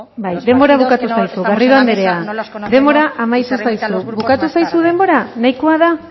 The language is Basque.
bai denbora bukatu zaizu garrido anderea denbora amaitu zaizu bukatu zaizu denbora nahikoa da